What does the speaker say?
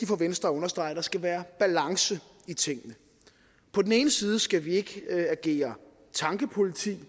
for venstre at understrege at der skal være balance i tingene på den ene side skal vi ikke agere tankepoliti